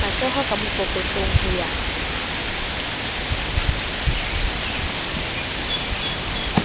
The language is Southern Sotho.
matshoho ka mokokotlong ho ya